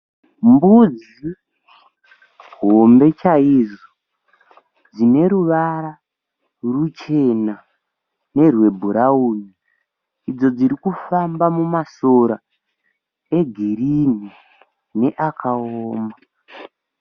Mbudzi hombe chaizvo. Dzine ruvara ruchena nerwebhurauni. Idzo dzirikufamba mumasora egirini neakaoma.